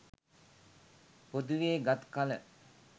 පොදුවේ ගත් කල